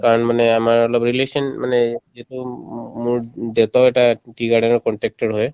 কাৰণ মানে আমাৰ অলপ relation মানে যিটো উব উব মোৰ উব দেউতাও এটা tea garden ৰ contractor হয়